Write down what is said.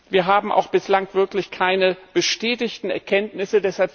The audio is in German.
Wir haben bislang auch wirklich keine bestätigten Erkenntnisse.